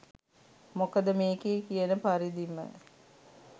මොකද මේකේ කියන පරිදිම